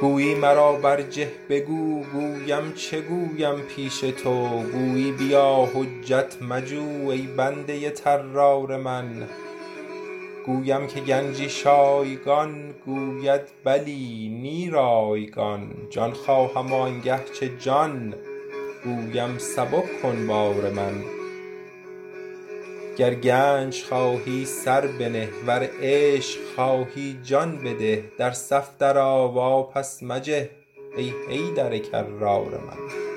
گویی مرا برجه بگو گویم چه گویم پیش تو گویی بیا حجت مجو ای بنده طرار من گویم که گنجی شایگان گوید بلی نی رایگان جان خواهم و آنگه چه جان گویم سبک کن بار من گر گنج خواهی سر بنه ور عشق خواهی جان بده در صف درآ واپس مجه ای حیدر کرار من